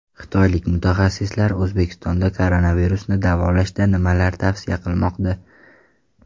Xitoylik mutaxassislar O‘zbekistonda koronavirusni davolashda nimalarni tavsiya qilmoqda?.